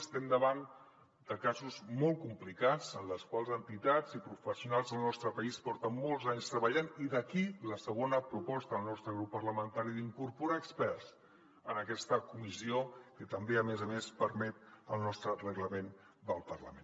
estem davant de casos molt complicats en els quals entitats i professionals del nostre país porten molts anys treballant i d’aquí la segona proposta del nostre grup parlamentari d’incorporar experts en aquesta comissió que també a més a més ho permet el nostre reglament del parlament